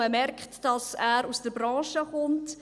Man merkt, dass er aus der Branche kommt.